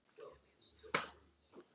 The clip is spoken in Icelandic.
Flotinn hefur minnkað mikið.